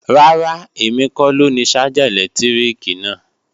Rárá, èmi kọ lóni ṣájà ẹ̀lẹ́tíríkì náà